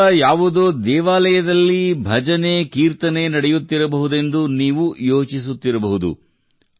ಮನೆಯ ಸಮೀಪ ಯಾವುದೋ ದೇವಾಲಯದಲ್ಲಿ ಭಜನೆ ಕೀರ್ತನೆ ನಡೆಯುತ್ತಿರಬಹುದೆಂದು ನೀವು ಯೋಚಿಸುತ್ತಿರಬಹುದು